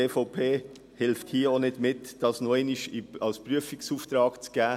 Die EVP hilft auch nicht mit, hier nochmals einen Prüfungsauftrag zu erteilen.